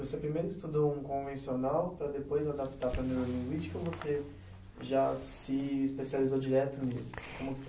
Você primeiro estudou um convencional para depois adaptar para a neurolinguística ou você já se especializou direto nisso?